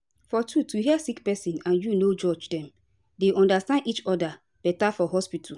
for truth to hear sick pesin and u no judge dem dey understand each oda beta for hospitu